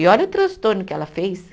E olha o transtorno que ela fez.